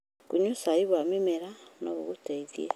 Kũnyua cai wa mĩmera no gũgũteithie.